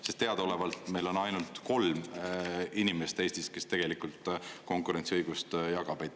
Sest teadaolevalt meil on ainult kolm inimest Eestis, kes tegelikult konkurentsiõigust jagab.